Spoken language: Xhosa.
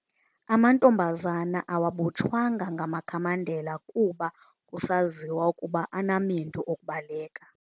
Amantombazana awabotshwanga ngamakhamandela kuba kusaziwa ukuba anamendu okubaleka.